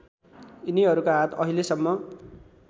यिनीहरूका हात अहिलेसम्म